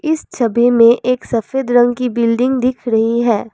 इस छवि में एक सफेद रंग की बिल्डिंग दिख रही है।